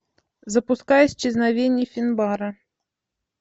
запускай исчезновение финбара